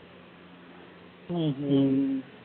உம் ஹம்